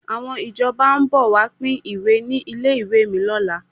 Àwọn ìjọba ń bọ̀ wá pín ìwé ní ilé ìwé mi lọ́la.